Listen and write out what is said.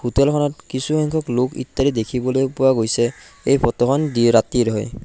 হোটেলখনত কিছুসংখ্যক লোক ইত্যাদি দেখিবলৈ পোৱা গৈছে এই ফটোখন দি ৰাতিৰ হয়।